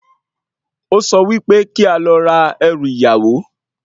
O sọ wípé kí a lọ ra ẹrù ìyàwó